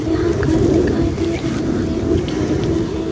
यहाँ घर दिखाई दे रहा है और खिड़की है।